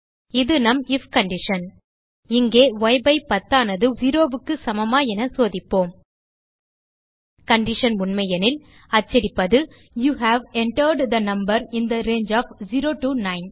இது நம் if condition இங்கே ய்10 ஆனது 0க்கு சமமா என சோதிப்போம் கண்டிஷன் உண்மையெனில் அச்சடிப்பது you have entered the number in the range of 0 to 9